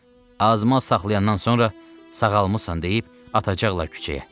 Azma saxlayandan sonra sağalmısan deyib atacaqlar küçəyə.